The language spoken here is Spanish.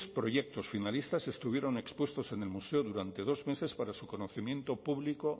proyectos finalistas estuvieron expuestos en el museo durante dos meses para su conocimiento público